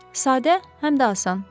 Sadə, həm də asan.